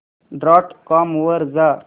dot com वर जा